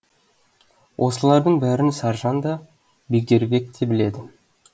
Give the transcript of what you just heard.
осылардың бәрін саржан да бегдербек те біледі